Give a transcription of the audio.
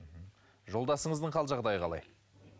жолдасыңыздың хал жағдайы қалай